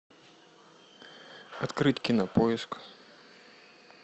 открыть кинопоиск